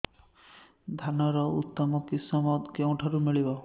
ଧାନର ଉତ୍ତମ କିଶମ କେଉଁଠାରୁ ମିଳିବ